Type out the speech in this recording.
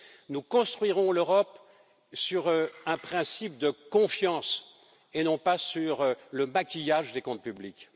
Nous construirons l'Europe sur un principe de confiance et non pas sur le maquillage des comptes publics.